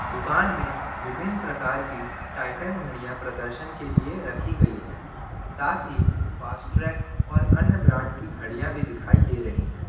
दुकान में विभिन्न प्रकार की टाइटन घड़ियां प्रदर्शन के लिए रखी गई है साथ ही फास्ट्रेक और अन्य ब्रांड की घड़ियां भी दिखाई दे रही हैं।